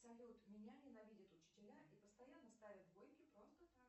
салют меня ненавидят учителя и постоянно ставят двойки просто так